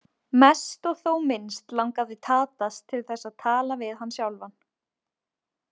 Mest og þó minnst langaði Tadas til að tala við hann sjálfan.